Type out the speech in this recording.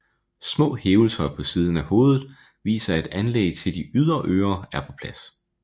Små hævelser på siden af hovedet viser at anlæg til de ydre ører er på plads